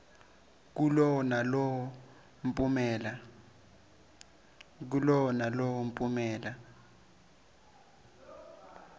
kulowo nalowo mphumela